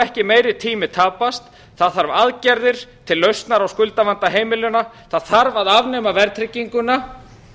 ekki meiri tími tapast það þarf aðgerðir til lausnar á skuldavanda heimilanna það þarf að afnema verðtrygginguna